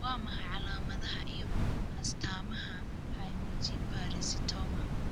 Waa maxay calaamadaha iyo astaamaha Hemangiopericytoma?